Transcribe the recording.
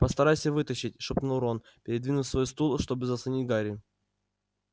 постарайся вытащить шепнул рон передвинув свой стул чтобы заслонить гарри